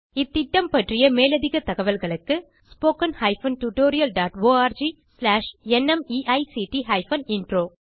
இத்திட்டம் பற்றிய மேலதிக தகவல்களுக்கு spoken tutorialorgnmeict இன்ட்ரோ